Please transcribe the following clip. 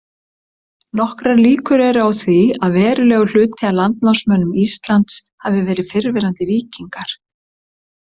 Nokkrar líkur eru á því að verulegur hluti af landnámsmönnum Íslands hafi verið fyrrverandi víkingar.